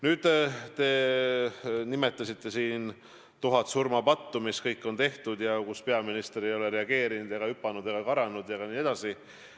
Nüüd, te nimetasite siin tuhat surmapattu, mis kõik on tehtud ja mille peale peaminister ei ole reageerinud, ei ole hüpanud ega karanud jne.